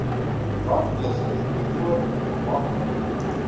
brandblussers byvoorbeeld maklik